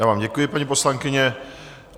Já vám děkuji, paní poslankyně.